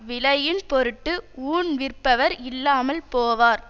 விலையின் பொருட்டு ஊன் விற்பவர் இல்லாமல் போவார்